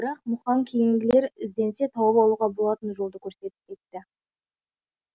бірақ мұқаң кейінгілер ізденсе тауып алуға болатын жолды көрсетіп кетті